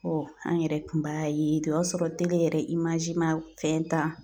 an yɛrɛ kun b'a ye o y'a sɔrɔ yɛrɛ ma fɛn ta